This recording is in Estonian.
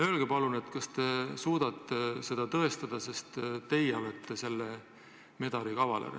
Öelge palun, kas te suudate seda tõestada – te olete ju selle medali kavaler.